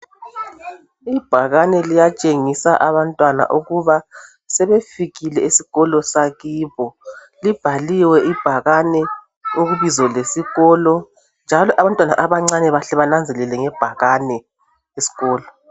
Ibhakane liyatshengisa abantwana ukuba sebefikile eskolo sakibo, libhaliwe ibhakane ibizo lesikolo njalo abantwana abancane bahle benanzelele ngebhakane iskolo.